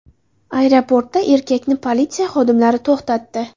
Aeroportda erkakni politsiya xodimlari to‘xtatdi.